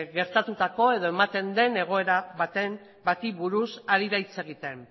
gertatutako edo ematen den egoera bati buruz ari da hitz egiten